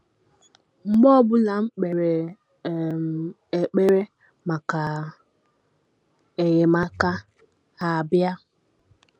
Mgbe ọ bụla m kpere um ekpere maka enyemaka, ha abịa.